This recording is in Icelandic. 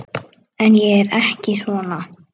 En ég er ekki svona.